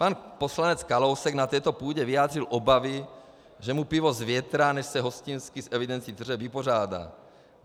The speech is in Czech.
Pan poslanec Kalousek na této půdě vyjádřil obavy, že mu pivo zvětrá, než se hostinský s evidencí tržeb vypořádá.